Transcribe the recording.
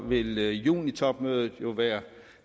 vil junitopmødet være